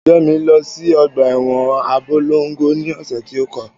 Ìjọ mi lọ sí ọgbà ẹwọn Abólongo ni ọ̀sẹ̀ tí ó.